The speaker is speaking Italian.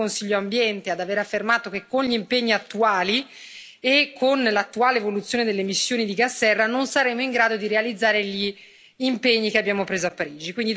È lo stesso Consiglio Ambiente ad aver affermato che, con gli impegni attuali e con l'attuale evoluzione delle emissioni di gas serra, non saremo in grado di realizzare gli impegni che abbiamo preso a Parigi.